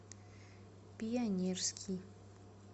пионерский